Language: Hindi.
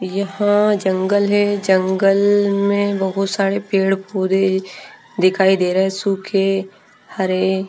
यहां जंगल है जंगल में बहुत सारे पेड़ पौधे दिखाई दे रहे हैं सूखे हरे--